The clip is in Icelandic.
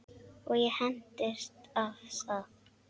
Og ég hentist af stað.